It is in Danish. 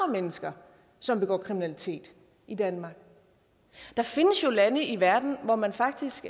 mennesker som begår kriminalitet i danmark der findes jo lande i verden hvor man faktisk